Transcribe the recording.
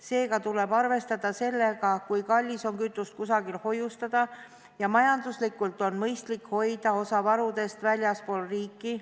Seega tuleb arvestada sellega, kui kallis on kütust kusagil hoiustada, ja majanduslikult on mõistlik hoida osa varudest väljaspool riiki.